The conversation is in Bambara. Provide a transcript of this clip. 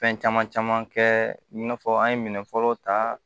Fɛn caman caman kɛ i n'a fɔ an ye minɛn fɔlɔ ta